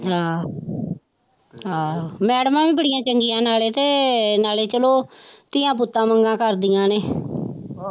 ਆਹੋ ਆਹੋ ਮੈਡਮਾਂ ਵੀ ਬੜੀਆਂ ਚੰਗੀਆਂ ਨਾਲੇ ਤੇ ਨਾਲੇ ਚਲੋ ਧੀਆਂ ਪੁੱਤਾਂ ਵਾਂਗਾ ਕਰਦੀਆਂ ਨੇ